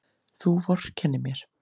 Þú vorkennir mér!